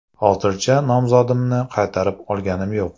Hozircha nomzodimni qaytarib olganim yo‘q.